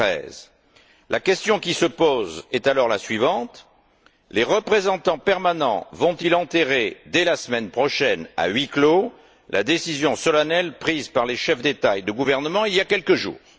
2013. La question qui se pose est alors la suivante les représentants permanents vont ils enterrer, dès la semaine prochaine, à huis clos, la décision solennelle prise par les chefs d'État et de gouvernement il y a quelques jours?